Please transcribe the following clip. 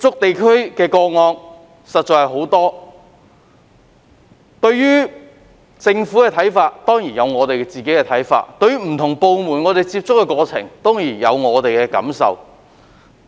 對於政府的政策，我們當然有自己的看法，而在接觸不同部門的過程中，當然亦有自己的感受。